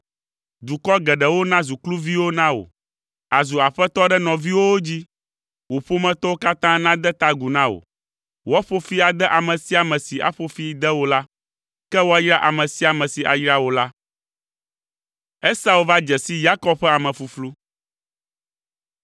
Dukɔ geɖewo nazu kluviwo na wò. Àzu aƒetɔ ɖe nɔviwòwo dzi. Wò ƒometɔwo katã nade ta agu na wò. Woaƒo fi ade ame sia ame si aƒo fi de wò la, ke woayra ame sia ame si ayra wò la.”